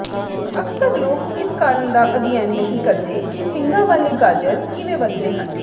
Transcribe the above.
ਅਕਸਰ ਲੋਕ ਇਸ ਕਾਰਨ ਦਾ ਅਧਿਐਨ ਨਹੀਂ ਕਰਦੇ ਕਿ ਸਿੰਗਾਂ ਵਾਲੇ ਗਾਜਰ ਕਿਵੇਂ ਵਧਦੇ ਹਨ